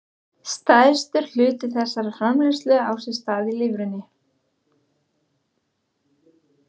Stærstur hluti þessarar framleiðslu á sér stað í lifrinni.